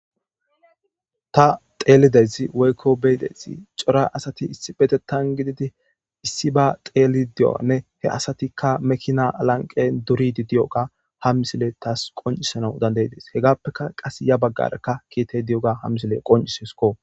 Ta xeelidez woykko beydezi cora asati issi betettan gididi issi ba xeeli diyoanne he asatikka mekina alanqe duridi di'oga ham misile tas qoncisana dandayides hegappeka qas ya baggarekka kiitey di'oga ha misile qoncisesko.